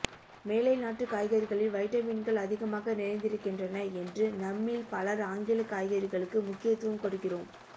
மேலை நாட்டுக் காய்கறிகளில் வைட்டமின்கள் அதிகமாக நிறைந்திருக்கின்றன என்று நம்மில் பலர் ஆங்கிலக் காய்கறிகளுக்கு முக்கியத்துவம் கொடுக்கிறோம்